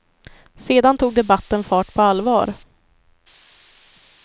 Sedan tog debatten fart på allvar.